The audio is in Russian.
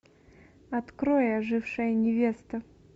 открой ожившая невеста